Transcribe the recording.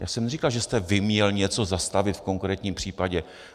Já jsem neříkal, že jste vy měl něco zastavit v konkrétním případě.